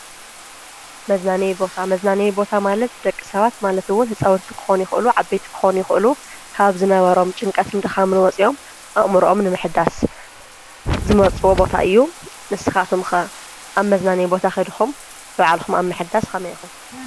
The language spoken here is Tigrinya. መዝናነዬ ቦታ፡- መዝናነዪ ቦታ ማለት ደቂ ሰባት ማለት እውን ህፃውንቲ ክኾኑ ይኽእሉ ዓበይቲ ክኾኑ ይኽእሉ ካብ ዝነበሮም ጭንቀትን ድኻምን ወፂኦም ኣእምሮኦም ንምሕዳስ ዝመርጽዎ ቦታ እዩ፡፡ ንስኻቶም ከ ኣብ መዝናነዪ ቦታ ኸይድኹም ንባዕልኹም ኣብ ምሕዳስ ኸመይ ኢኹም?